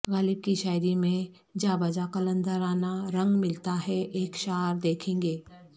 غالب کی شاعری میں جا بجا قلندرانہ رنگ ملتا ہے ایک شعر دیکھیں کہ